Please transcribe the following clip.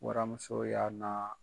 Waramuso y'a na